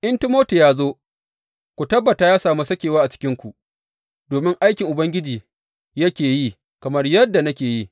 In Timoti ya zo, ku tabbata ya sami sakewa a cikinku, domin aikin Ubangiji yake yi kamar yadda nake yi.